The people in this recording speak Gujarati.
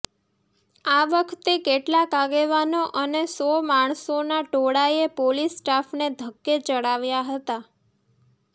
આ વખતે કેટલાક આગેવાનો અને સો માણસોના ટોળાએ પોલીસ સ્ટાફને ધક્કે ચડાવ્યા હતા